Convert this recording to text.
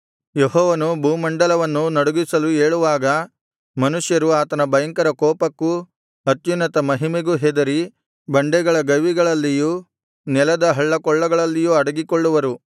ಯೆಹೋವನು ಭೂಮಂಡಲವನ್ನು ನಡುಗಿಸಲು ಏಳುವಾಗ ಮನುಷ್ಯರು ಆತನ ಭಯಂಕರ ಕೋಪಕ್ಕೂ ಅತ್ಯುನ್ನತ ಮಹಿಮೆಗೂ ಹೆದರಿ ಬಂಡೆಗಳ ಗವಿಗಳಲ್ಲಿಯೂ ನೆಲದ ಹಳ್ಳಕೊಳ್ಳಗಳಲ್ಲಿಯೂ ಅಡಗಿಕೊಳ್ಳುವರು